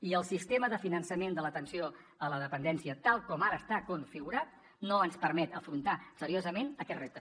i el sistema de finançament de l’atenció a la dependència tal com ara està configurat no ens permet afrontar seriosament aquest repte